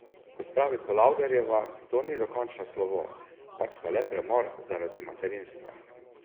Kot pravi Polavderjeva, to ni dokončno slovo, pač pa le premor zaradi materinstva.